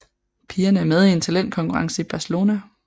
Pigerne er med i en talentkonkurrence i Barcelona